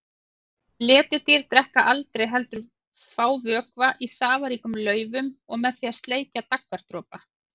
Letidýr drekka aldrei heldur fá vökva í safaríkum laufum og með því að sleikja daggardropa.